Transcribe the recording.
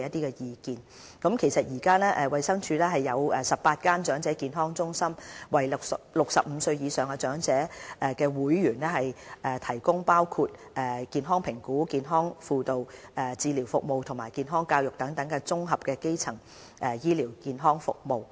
衞生署現時共設有18間長者健康中心，為65歲或以上的長者會員提供包括健康評估、健康輔導、治療服務和健康教育等綜合基層醫療健康服務。